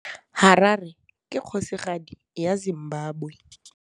Harare ke kgosigadi ya Zimbabwe.